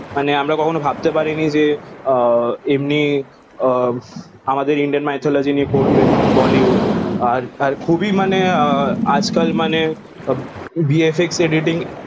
মানে আমরা কখনো ভাবতে পারিনি যে আহ এমননি আহ আমাদের ইন্ন indian mithology য়ে করবে বলিউড আর আর খুবই মানে আজ কাল মানে VFXediting